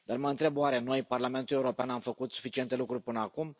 Dar mă întreb oare noi, Parlamentul European, am făcut suficiente lucruri până acum?